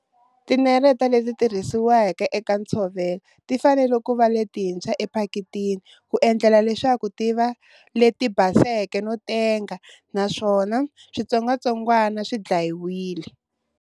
Tineleta leti tirhisiwa eka ntshavelo ti fanele ku va letintshwa ephakitini ku endlela leswaku ti va leti baseke no tenga naswona switsongwatsongwana swi dlayiwile.